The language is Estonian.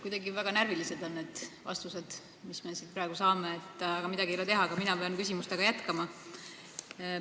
Kuidagi väga närvilised on need vastused, mis me siin praegu saame, aga midagi ei ole teha, ka mina pean küsimustega jätkama.